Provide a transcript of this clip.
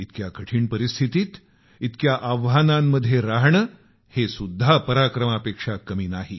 इतक्या कठीण परिस्थितीत इतक्या आव्हानांमध्ये राहणं हे सुद्धा पराक्रमापेक्षा कमी नाही